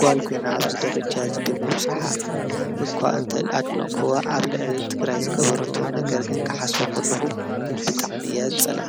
ጓልኮይና ኣብዝ ደረጃ ብመብጽሓ እኳ እንተ ኣድኖኮዋ ኣብ ልዕልሊ ትግራይ ዝገበርቶ ነገርግን ክሓሶቦከልኹ ብጣዕሚ እያ ዝጸለኣ።